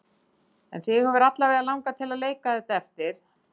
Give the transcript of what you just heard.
En þig hefur alla vega langað til að leika þetta eftir?